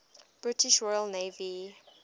british royal navy